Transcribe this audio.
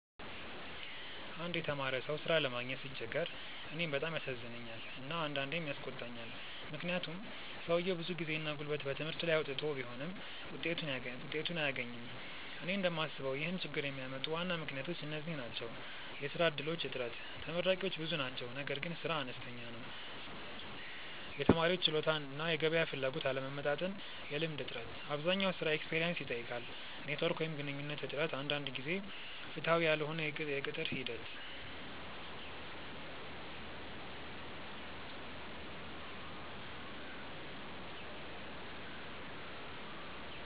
አንድ የተማረ ሰው ሥራ ለማግኘት ሲቸገር እኔን በጣም ያሳዝነኛል እና አንዳንዴም ያስቆጣኛል፤ ምክንያቱም ሰውየው ብዙ ጊዜና ጉልበት በትምህርቱ ላይ አውጥቶ ቢሆንም ውጤቱን አያገኝም። እኔ እንደምስበው ይህን ችግኝ የሚያመጡ ዋና ምክንያቶች እነዚህ ናቸው፦ የሥራ እድሎች እጥረት (ተመራቂዎች ብዙ ናቸው ነገር ግን ሥራ አነስተኛ ነው) የተማሪዎች ችሎታ እና የገበያ ፍላጎት አለመመጣጠን የልምድ እጥረት (አብዛኛው ሥራ “experience” ይጠይቃል) ኔትዎርክ ወይም ግንኙነት እጥረት አንዳንድ ጊዜ ፍትሃዊ ያልሆነ የቅጥር ሂደት